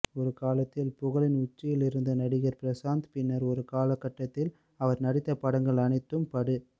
ஒரு காலத்தில் புகழின் உச்சியில் இருந்த நடிகர் பிரசாந்த் பின்னர் ஒரு காலகட்டத்தில் அவர் நடித்த படங்கள் அனைத்தும் படு